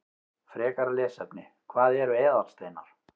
Frekara lesefni: Hvað eru eðalsteinar?